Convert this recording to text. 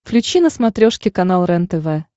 включи на смотрешке канал рентв